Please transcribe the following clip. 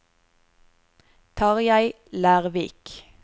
Tarjei Lervik